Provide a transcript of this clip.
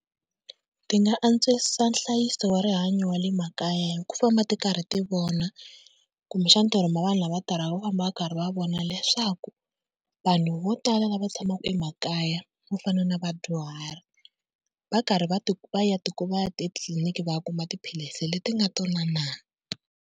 Ti nga antswisa nhlayiso wa rihanyo wa le makaya hi ku famba ti karhi ti vona, kumbexana ti rhuma vanhu lava tirhaka ku famba va karhi va vona leswaku vanhu vo tala lava tshamaka emakaya vo fana na vadyuhari va karhi va ti va ya etitliliniki va ya kuma tiphilisi leti nga tona na.